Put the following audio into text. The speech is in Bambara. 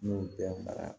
N y'o bɛɛ mara